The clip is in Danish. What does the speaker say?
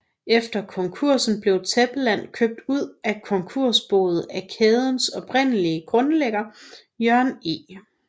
Efter konkursen blev Tæppeland købt ud af konkursboet af kædens oprindelige grundlægger Jørn E